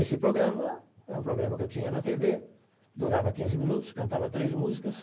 Esse programa é um programa que eu tinha na tê vê, durava quinze minutos, cantava três músicas.